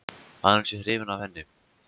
Að hann sé hrifinn af henni.